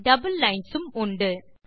double lines உம் உண்டு